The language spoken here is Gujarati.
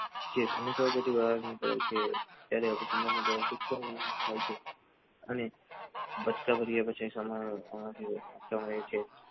બેટી છે અને ત્યારે ઓફિસે આવી ને બચકાં ભર્યા પછી સામા છે